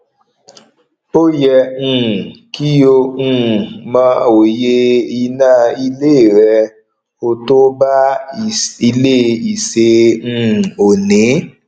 òye um kí ó um mọ òye iná ilé rẹ ò to bá ilé ìṣe um òní